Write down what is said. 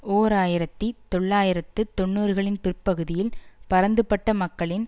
ஓர் ஆயிரத்தி தொள்ளாயிரத்து தொன்னூறுகளின் பிற்பகுதியில் பரந்துபட்ட மக்களின்